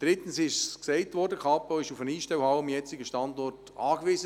Drittens ist die Kantonspolizei Bern am jetzigen Standort auf eine Einstellhalle angewiesen.